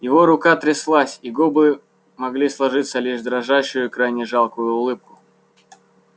его рука тряслась и губы могли сложиться лишь в дрожащую крайне жалкую улыбку